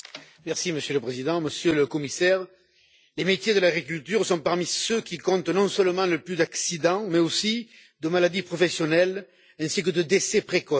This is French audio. Monsieur le Président, Monsieur le Commissaire, les métiers de l'agriculture font partie de ceux qui comptent non seulement le plus d'accidents, mais aussi le plus de maladies professionnelles et de décès précoces.